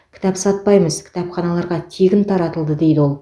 кітап сатпаймыз кітапханаларға тегін таратылды дейді ол